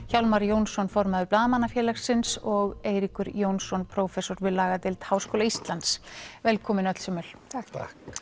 Hjálmar Jónsson formaður Blaðamannafélagsins og Eiríkur Jónsson prófessor við lagadeild Háskóla Íslands velkomin öll sömul takk